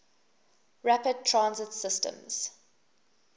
rapid transit systems